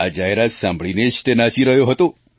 આ જાહેરાત સાંભળીને જ તે નાચી રહ્યો હતો